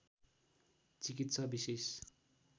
चिकित्सा विशेष